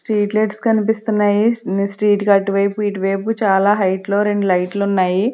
Street lights కనిపిస్తున్నాయి street కి అట్టు వైపు ఇటు వైపు చాలా హెయిట్ లో రెండు లైట్ లు ఉన్నాయి.